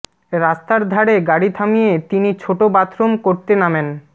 রাস্তার ধারে গাড়ি থামিয়ে তিনি ছোট বাথরুম করতে নামেন